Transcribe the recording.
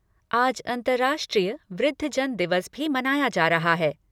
आज अंतर्राष्ट्रीय वृद्धजन दिवस भी मनाया जा रहा है।